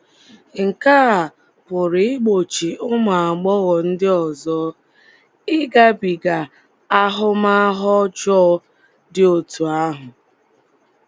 Nke a um pụrụ igbochi ụmụ um agbọghọ ndị ọzọ ịgabiga ahụmahụ ọjọọ dị otú ahụ.